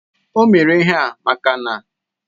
O mere ihea maka na